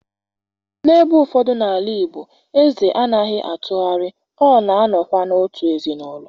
n'ebe ụfọdụ n'ala Igbo, eze anaghị atụgharị, ọ na-anọkwa n'otu ezinụlọ